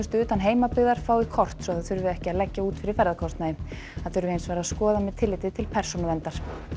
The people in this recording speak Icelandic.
utan heimabyggðar fái kort svo það þurfi ekki að leggja út fyrir ferðakostnaði það þurfi hins vegar að skoða með tilliti til persónuverndar